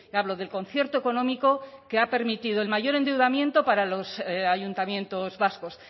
hablo del concierto económico que ha permitido el mayor endeudamiento para los ayuntamientos vascos